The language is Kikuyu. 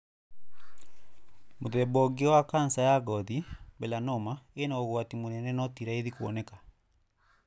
Mũthemba ũngĩ wa cancer ya ngothi, melanoma, ĩna ũgwati mũnene no ti raithi kũoneka.